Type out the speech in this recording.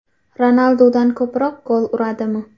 Ronaldudan ko‘proq gol uradimi?